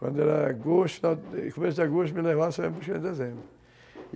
Quando era agosto, no começo de agosto ele me levava e só ia me buscar em dezembro.